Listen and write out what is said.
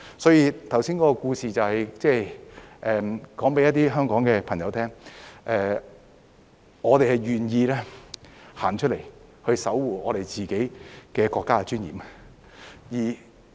所以，剛才的故事就是告訴一些香港朋友，我們願意走出來守護我們自己國家的尊嚴。